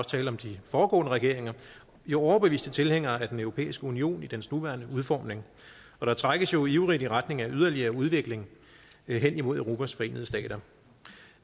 tale om de foregående regeringer overbeviste tilhængere af den europæiske union i dens nuværende udformning og der trækkes jo ivrigt i retning af yderligere udvikling hen imod europas forenede stater